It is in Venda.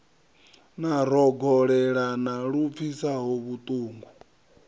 na rogolelana lu pfisaho vhutungu